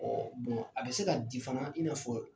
Ɔ bon a bɛ se ka di fana i n'a fɔ